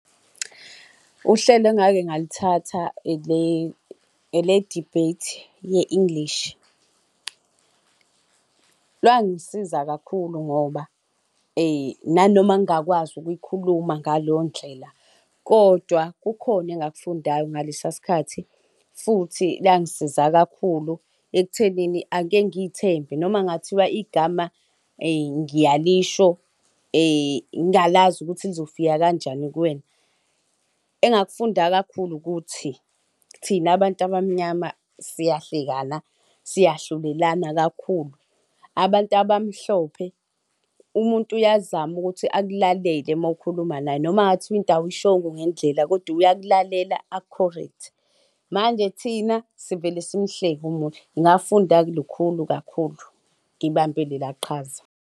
Uhlelo engake ngalithatha ele-debate ye-English langisiza kakhulu ngoba nanoma ngingakwazi ukuyikhuluma ngaleyo ndlela kodwa kukhona engakufundayo ngaleso sikhathi. Futhi langisiza kakhulu ekuthenini ake ngiy'thembe, noma kungathiwa igama ngiyalisho ngingalazi ukuthi lizofika kanjani kuwena. Engakufunda kakhulu ukuthi thina abantu abamnyama siyahlekana, siyahlulelana kakhulu. Abantu abamhlophe umuntu uyazama ukuthi akulalele uma ukhuluma naye noma kungathiwa into awuyishongo ngendlela kodwa uyakulalela aku-correct-e. Manje thina sivele simhleke umuntu ngafunda lukhulu kakhulu, ngibambe lela qhaza.